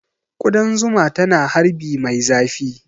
Ƙudan zuma tana harbi mai zafi